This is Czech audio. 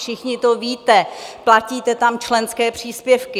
Všichni to víte, platíte tam členské příspěvky.